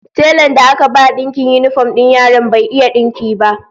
Telan da aka ba dinkin yinifom din yaran bai iya dinkin ba